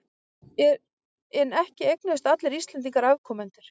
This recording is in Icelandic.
En ekki eignuðust allir Íslendingar afkomendur.